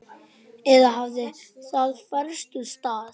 Eða hafði það færst úr stað?